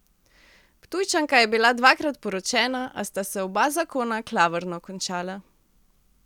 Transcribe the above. Ptujčanka je bila dvakrat poročena, a sta se oba zakona klavrno končala.